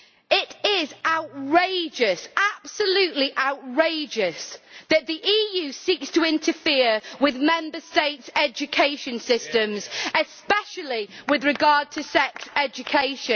It is outrageous, absolutely outrageous, that the EU seeks to interfere with the Member States' education systems, especially with regard to sex education.